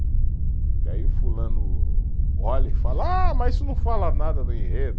Que aí o fulano olha e fala, ah, mas isso não fala nada do enredo.